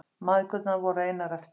Mæðgurnar voru einar eftir.